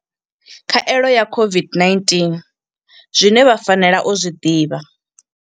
Khaelo ya COVID-19 zwine vha fanela u zwi ḓivha.